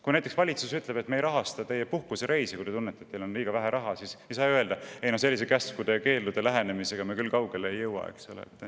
Kui näiteks valitsus ütleb, et me ei rahasta teie puhkusereisi, mis sest, et te tunnete, et teil on liiga vähe raha, siis sel juhul me ei ütle, et sellise käskudel ja keeldudel põhineva lähenemisega me küll kaugele ei jõua.